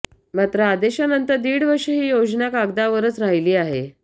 मात्र आदेशानंतर दीड वर्षे ही योजना कागदावरच राहिली आहे